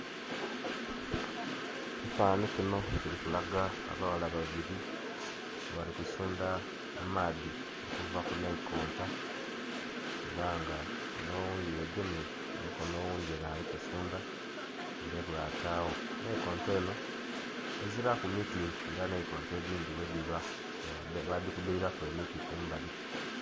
Ekifanhanhi kinho kirikulaga abaghala babiri nga bali kusundha amaadhi okuva kunhaikonta era nga onh' oghundhi yegemye kumikono oghundhi alikusundha ole ghatagho. Nhaikonto enho ezira ku miti nga nhaikonto edhindhi bwedhiba nga badhikubiriraku emiti kumbali.